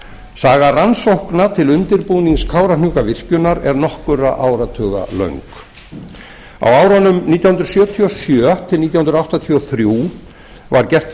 saga rannsókna til undirbúnings kárahnjúkavirkjunar er nokkurra áratuga löng á árunum nítján hundruð sjötíu og sjö til nítján hundruð áttatíu og þrjú var gert